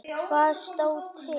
Hvað stóð til?